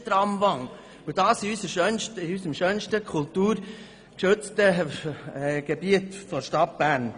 Deshalb handelt es sich um eine «Tramwand» und dies im schönsten kulturgeschützten Gebiet der Stadt Bern!